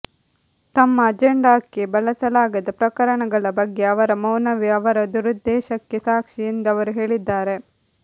ತಮ್ಮ ಅಜೆಂಡಾಕ್ಕೆ ಬಳಸಲಾಗದ ಪ್ರಕರಣಗಳ ಬಗ್ಗೆ ಅವರ ಮೌನವೇ ಅವರ ದುರುದ್ದೇಶಕ್ಕೆ ಸಾಕ್ಷಿ ಎಂದು ಅವರು ಹೇಳಿದ್ದಾರೆ